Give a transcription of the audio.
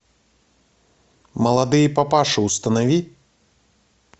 молодые папаши установи